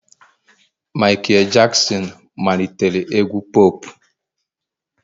Michael Jackson malitere egwu pop